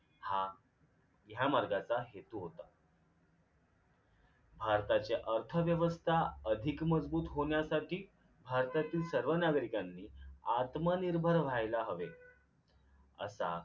हा ह्या मार्गाचा हेतू होता भारताची अर्थव्यवस्था अधिक मजबूत होण्यासाठी भारतातील सर्व नागरिकांनी आत्मनिर्भर व्हायला हवे असा